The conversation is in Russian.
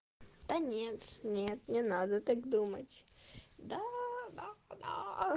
да нет нет не надо так думать даа да да